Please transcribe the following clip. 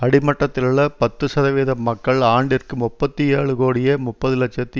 அடிமட்டத்திலுள்ள பத்துசதவீதம் மக்கள் ஆண்டிற்கு முப்பத்தி ஏழு கோடியே முப்பது இலட்சத்தி